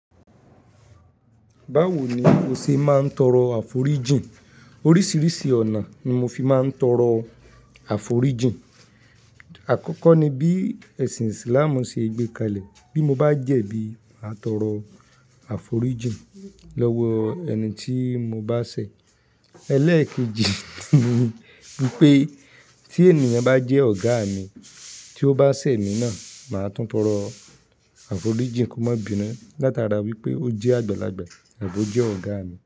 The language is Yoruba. Bawo ni o ṣe máa ń tọrọ àforíjìn? Oríṣiríṣi ọ̀nà ni mo fi máa ń tọrọ àforíjìn. Àkọ́kọ́ ni bí ẹ̀sìn Islam ṣe gbé kalẹ̀. Bí mo bá jẹ̀bi, màá tọrọ àforíjìn lọ́wọ́ ẹni tí mo bá ṣẹ̀. Ẹlẹ́èkejì ni wípé tí ènìyàn bá jẹ́ ọ̀gá mi, tí ó bá ṣẹ̀ emí náà, màá tún tọrọ àforíjìn kó má binu. Látara wípé ó jẹ́ àgbàlagbà tàbi o jẹ́ ọ̀gá mi.